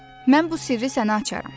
Mən bu sirri sənə açaram.